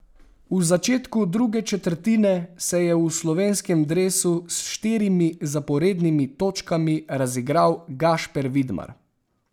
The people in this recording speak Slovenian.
V začetku druge četrtine se je v slovenskem dresu s štirimi zaporednimi točkami razigral Gašper Vidmar.